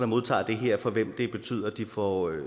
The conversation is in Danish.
modtager det her for hvem det betyder at de får